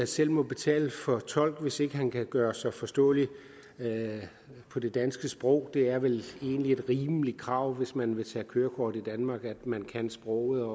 selv må betale for tolk hvis ikke han kan gøre sig forståelig på det danske sprog det er vel egentlig et rimeligt krav hvis man vil tage kørekort i danmark at man kan sproget og